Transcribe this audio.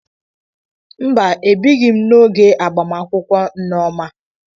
Mba, abịghi m n'oge agbamakwụkwọ Nneoma.